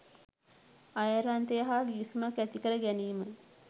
අයර්ලන්තය හා ගිවිසුමක් ඇති කර ගැනීම